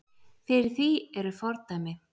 Fyrir því eru fordæmi.